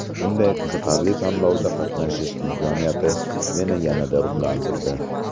Bunday qiziqarli tanlovda qatnashish imkoniyati meni yanada ruhlantirdi.